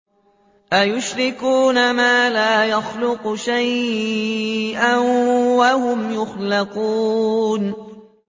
أَيُشْرِكُونَ مَا لَا يَخْلُقُ شَيْئًا وَهُمْ يُخْلَقُونَ